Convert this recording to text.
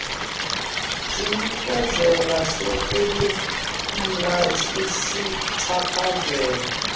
sinikezelo sakulamla esichaphazela